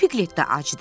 Piglet də acdır.